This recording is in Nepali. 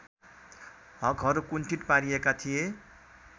हकहरू कुण्ठित पारिएका थिए